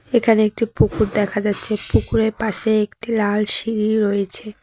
এখানে একটি পুকুর দেখা যাচ্ছে পুকুরের পাশে একটি লাল সিঁড়ি রয়েছে।